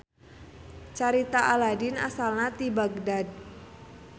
Carita Aladin asalna ti Baghdad